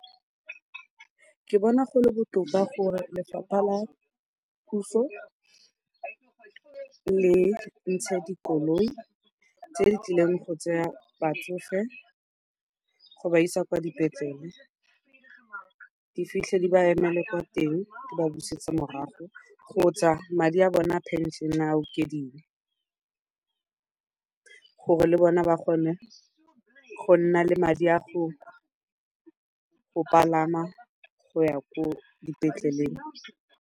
Ke bona go le botoka gore lefapha la puso le ntshe dikoloi tse di tlileng go tsaya batsofe go ba isa kwa dipetlele, di fitlhe di ba emele kwa teng di ba busetse morago kgotsa madi a bona a pension-e a okediwe gore le bona ba kgone go nna le madi a go palama go ya ko dipetleleng.